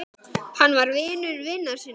Hann var vinur vina sinna.